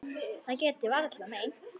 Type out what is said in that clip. Það get ég varla meint.